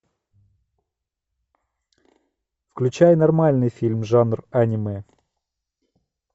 включай нормальный фильм жанр аниме